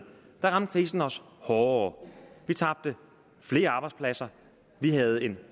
der ramte krisen os hårdere vi tabte flere arbejdspladser vi havde en